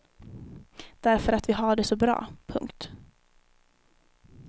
Därför att vi har det så bra. punkt